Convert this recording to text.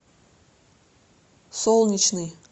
солнечный